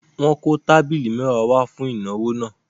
Wọ́n kó tábìlì mẹ́wàá wá fún ìnáwó náà.